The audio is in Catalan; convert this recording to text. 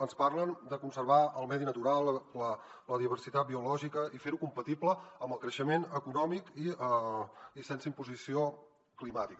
ens parlen de conservar el medi natural la diversitat biològica i fer ho compatible amb el creixement econòmic i sense imposició climàtica